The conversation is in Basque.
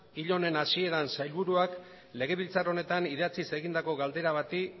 hile honen hasieran sailburuak legebiltzar honetan idatziz egindako galdera bati